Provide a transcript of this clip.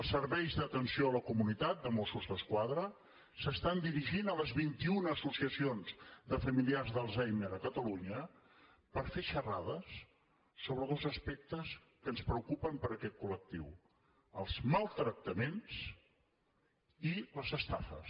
els serveis d’atenció a la comunitat de mossos d’esquadra s’estan dirigint a les vint i una associacions de familiars d’alzheimer a catalunya per fer xerrades sobre dos aspectes que ens preocupen per aquest col·lectiu els maltractaments i les estafes